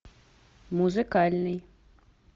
музыкальный